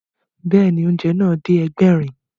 Bẹ́ẹ̀ni, oúnjẹ náà dé Ẹgbẹ̀rin